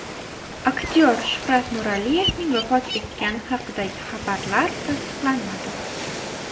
Aktyor Shuhrat Nuraliyevning vafot etgani haqidagi xabarlar tasdiqlanmadi .